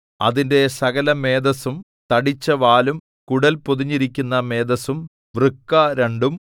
അതിന്റെ സകലമേദസ്സും തടിച്ചവാലും കുടൽ പൊതിഞ്ഞിരിക്കുന്ന മേദസ്സും വൃക്ക രണ്ടും